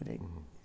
Por aí.